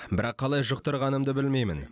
бірақ қалай жұқтырғанымды білмеймін